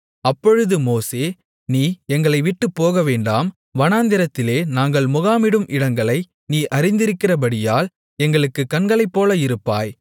அப்பொழுது மோசே நீ எங்களை விட்டுப் போகவேண்டாம் வனாந்திரத்திலே நாங்கள் முகாமிடும் இடங்களை நீ அறிந்திருக்கிறபடியால் எங்களுக்குக் கண்களைப்போல இருப்பாய்